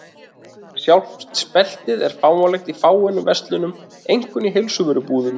Sjálft speltið er fáanlegt í fáeinum verslunum, einkum í heilsuvörubúðum.